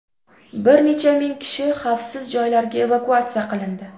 Bir necha ming kishi xavfsiz joylarga evakuatsiya qilindi.